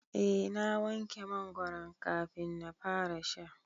Eh na wanke mangoron kafin na fara sha.